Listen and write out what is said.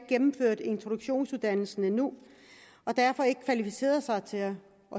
gennemført introduktionsuddannelsen endnu og derfor ikke har kvalificeret sig til at